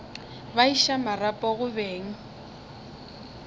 ba iša marapo go beng